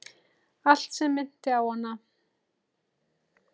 Allt sem minnti á hana.